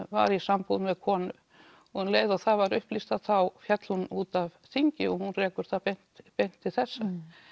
var í sambúð með konu og um leið og það var upplýst þá fellur hún út af þingi og hún rekur það beint beint til þessa